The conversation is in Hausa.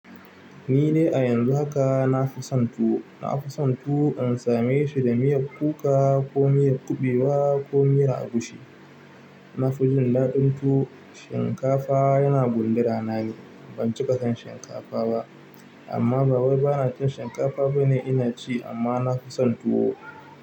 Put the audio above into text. Ni ne a yanzu haka nafi son tuwo. Nafison tuwo in same shi da miyar kuka ko miyar kuɓewa ko miyar agushi. Nafijin daɗin tuwo. Shinkafa yana gundura nane. Ban cika son shinkafa ba amma ba wai ba na cin shinkafa bane ina ci amma nafison tuwo.